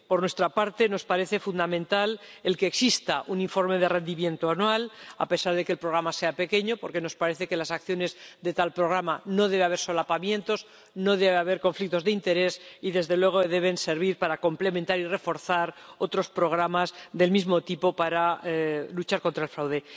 Por nuestra parte, nos parece fundamental el que exista un informe de rendimiento anual, a pesar de que el Programa sea pequeño, porque nos parece que en las acciones de tal Programa no debe haber solapamientos, no debe haber conflictos de interés y, desde luego, deben servir para complementar y reforzar otros programas del mismo tipo para luchar contra el fraude.